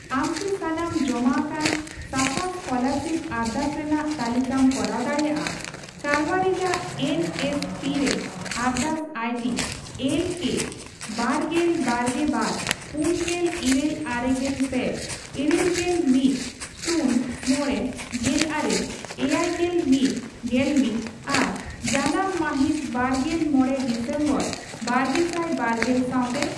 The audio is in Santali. ᱟᱢᱠᱤ ᱥᱟᱱᱟᱢ ᱡᱚᱢᱟ ᱟᱠᱟᱱ ᱥᱟᱯᱷᱟ ᱥᱠᱯᱚᱞᱟᱨᱥᱤᱯ ᱟᱨᱫᱟᱥ ᱨᱮᱱᱟᱜ ᱛᱟᱞᱤᱠᱟᱢ ᱠᱚᱨᱟᱣ ᱫᱟᱲᱮᱭᱟᱜᱼᱟ ᱠᱟᱨᱵᱟᱨᱤᱡᱟᱜ ᱮᱱ ᱮᱥ ᱯᱤ ᱨᱮ ᱟᱨᱰᱟᱥ ᱟᱭᱰᱤ ᱮᱞ ᱠᱮ ᱵᱟᱨᱜᱮᱯ ᱵᱟᱨᱜᱮ ᱵᱟᱨ ,ᱯᱩᱱᱜᱮᱞ ᱤᱨᱟᱹᱞ ᱟᱨᱮᱜᱮᱞ ᱯᱮ ,ᱤᱨᱟᱹᱞᱜᱮᱞ ᱢᱤᱛ ,ᱥᱩᱱ ,ᱢᱚᱲᱮ ,ᱜᱮᱞᱟᱨᱮ ,ᱮᱭᱟᱭᱜᱮᱞ ᱢᱤᱛ ᱜᱮᱞᱢᱤᱛ ᱟᱨ ᱡᱟᱱᱟᱢ ᱢᱟᱹᱦᱤᱛ ᱵᱟᱨᱜᱮᱞ ᱢᱚᱲᱮ ᱰᱤᱥᱮᱢᱵᱚᱨ ᱵᱟᱨᱜᱮᱥᱟᱭ ᱵᱟᱨᱜᱮᱞ ᱥᱟᱣᱛᱮ ᱾